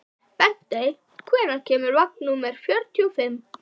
Bentey, hvenær kemur vagn númer fjörutíu og fimm?